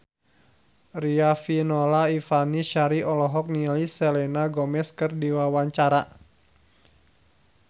Riafinola Ifani Sari olohok ningali Selena Gomez keur diwawancara